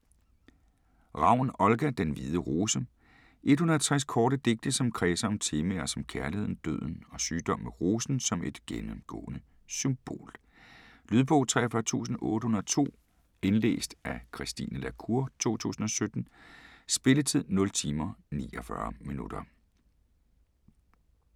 Ravn, Olga: Den hvide rose 160 korte digte som kredser om temaer som kærligheden, døden og sygdom med rosen som et gennemgående symbol. Lydbog 43802 Indlæst af Christine la Cour, 2017. Spilletid: 0 timer, 49 minutter.